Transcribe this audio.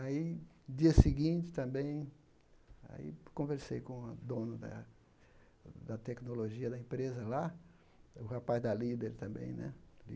Aí, dia seguinte, também, aí conversei com o dono da da tecnologia da empresa lá, o rapaz da líder também, né?